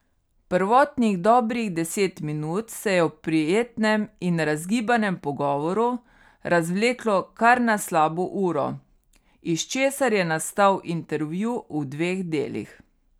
Prvotnih dobrih deset minut se je v prijetnem in razgibanem pogovoru razvleklo kar na slabo uro, iz česar je nastal intervju v dveh delih.